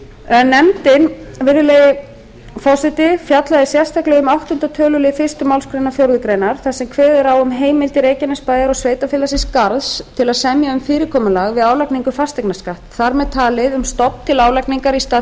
en nefndin virðulegi forseti fjallaði sérstaklega um áttunda töluliðar fyrstu málsgrein fjórðu grein þar sem kveðið er á um heimildir reykjanesbæjar og sveitarfélagsins garðs til að semja um fyrirkomulag við álagningu fasteignaskatts þar með talin um stofn til álagningar í stað